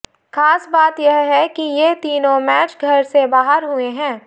खास बात यह है कि ये तीनों मैच घर से बाहर हुए हैं